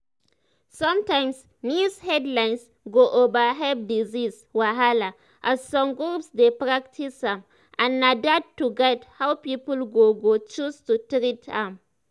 sometimes news headlines go overhype disease wahala as some groups dey practice am and na that go guide how people go go choose to treat am."